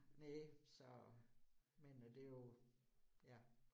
Næ så, men øh det jo ja